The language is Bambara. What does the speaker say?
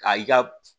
Ka i ka